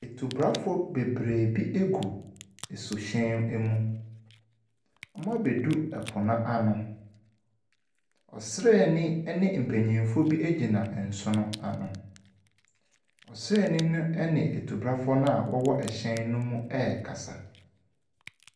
Tubrafoɔ bebree bi gu suhyɛn mu. Wɔabɛduru po no ano. Ɔsraani ne mpanimfoɔ bi gyina nsuo no ano. Ɔsraani no ne atubrafoɔ a wɔwɔ hyɛn no mu no rekasa.